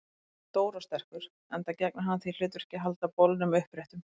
Hann er stór og sterkur, enda gegnir hann því hlutverki að halda bolnum uppréttum.